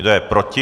Kdo je proti?